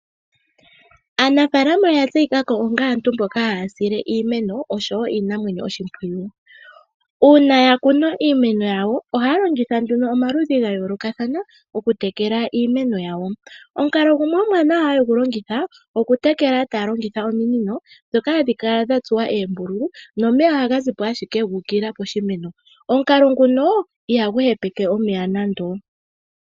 Aanafalama oya tseyikako onga aantu mboka haya sile iimeno osho wo iinamwenyo oshimpwiyu. Uuna ya kuna iimeno yawo ohaya longitha nduno omaludhi ga yoolokathana okutekela iimeno yawo. Omukalo gumwe ngoka haya longitha omuwanawa ohaya longitha oominino dha tsuwa oombulu nomeya ohaga ziko ashike guukilila poshimeno. Omukalo nguno ihagu hepeke omeya nando.